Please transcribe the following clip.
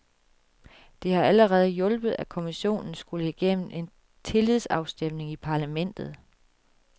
Det har allerede hjulpet, at kommissionen skulle igennem en tillidsafstemning i parlamentet.